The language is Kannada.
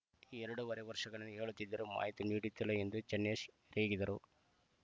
ಎರಡೂವರೆ ವರ್ಷಗಳಿಂದ ಹೇಳುತ್ತಿದ್ದರೂ ಮಾಹಿತಿ ನೀಡುತ್ತಿಲ್ಲ ಎಂದು ಚೆನ್ನೇಶ್‌ ರೇಗಿದರು